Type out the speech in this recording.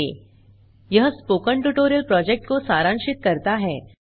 httpspoken tutorialorgWhat is a Spoken Tutorial यह spoken tutorial project को सारांशित करता है